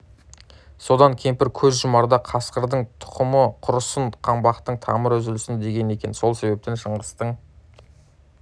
содан кемпір көз жұмарда қасырдың тұқымы құрысын қаңбақтың тамыры үзілсін деген екен сол себептен шыңғыстың